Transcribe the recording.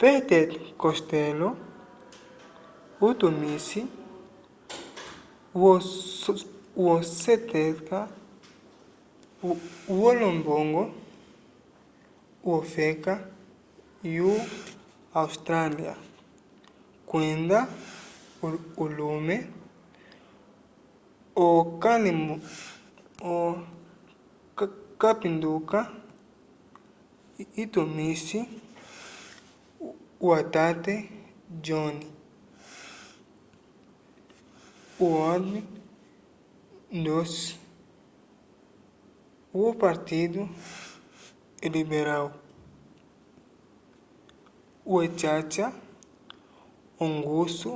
peter costello utumisi woseketa wolombongo wofeka yo austrália kwenda ulume okapinduka utumisi watete john howard ndu'songwi wopartido liberal wecaca ongusu